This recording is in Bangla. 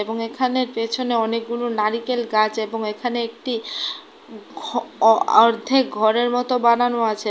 এবং এখানে পেছনে অনেকগুলো নারিকেল গাছ এবং এখানে একটি ঘর অ অর্ধেক ঘরের মতো বানানো আছে।